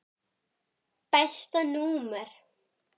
Besta númer?